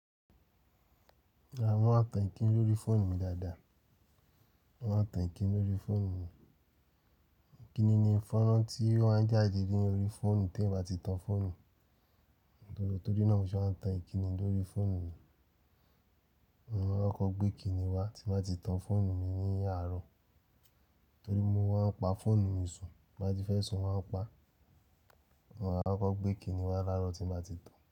Daada mo ma tan ìkíni lórí fóònù mi dáadáa. Wọ́n a tan ìkíni lórí fóònù mi. Ìkíni ni fonran tí o maa ń jáde dé ni orí fóònù t'eyan bá ti tan fóònù. Nítorí náà mo ṣe maa tan ìkíni lórí fóònù mi. Wọn a koko gbé kíni wá tí n ba ti tan fóònù mi ní àárọ̀. Torí mo maa n pa fóònù mi sùn, ti n bati fe sùn mo maa n pa. Wọn a kọko gbé kíni wá láàárọ̀ tí bá ti tan.